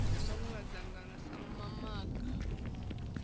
na mawe madzhango sa mamaga